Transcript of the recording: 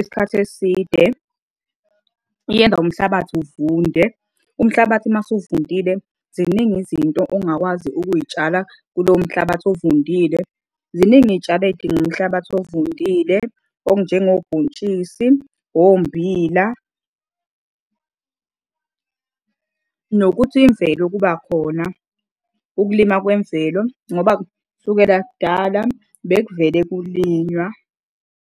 isikhathi eside yenza umhlabathi uvunde, umhlabathi mase uvundile ziningi izinto ongakwazi ukuy'tshala kulowo mhlabathi ovundile. Ziningi iy'tshalo ey'dinga umhlabathi ovundile okunjengobhontshisi, ommbila. Nokuthi imvelo, ukuba khona ukulima kwemvelo ngoba kusukela kudala bekuvele kulinywa.